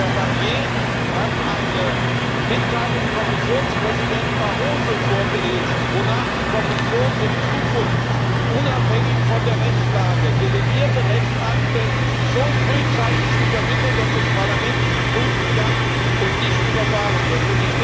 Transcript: Herr Barnier hat eine Mitteilung von Kommissionspräsident Barroso vorgelesen, wonach die Kommission in Zukunft unabhängig von der Rechtslage delegierte Rechtsakte so frühzeitig übermittelt, dass das Parlament sie prüfen kann und nicht überfahren wird.